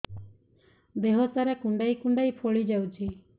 ଦେହ ସାରା କୁଣ୍ଡାଇ କୁଣ୍ଡାଇ ଫଳି ଯାଉଛି